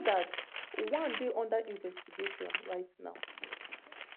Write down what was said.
so dat one dey unda investigation right now